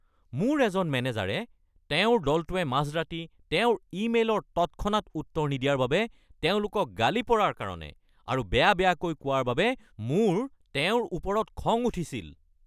মোৰ এজন মেনেজাৰে তেওঁৰ দলটোৱে মাজৰাতি তেওঁৰ ইমেইলৰ তৎক্ষণাত উত্তৰ নিদিয়াৰ বাবে তেওঁলোকক গালি পৰাৰ কাৰণে আৰু বেয়া বেয়াকৈ কোৱাৰ বাবে মোৰ তেওঁৰ ওপৰত খং উঠিছিল।